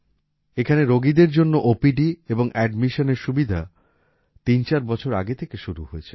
এখানে রোগীদের জন্য ওপিডি এবং অ্যাডমিশনের সুবিধা তিন চার বছর আগে থেকে শুরু হয়েছে